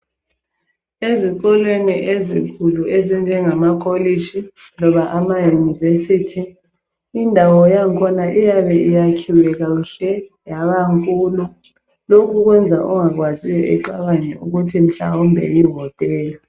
Ezikolweni ezinkulu ezinjengamakokitshi loba amayunivesithi. Indawo yakhona iyabe iyakhiwe kuhle yabankulu. Lokhu kwenza ongakwaziyo ecabange ukuthi mhlawumbe yohotela